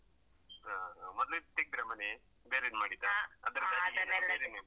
ಹಾ ಹಾ ಮೊದ್ಲಿದ್ ತೆಗ್ದ್ರಾ ಮನೆ ಬೇರೇದ್ ಮಾಡಿದ್ದಾ ಅದ್ರ.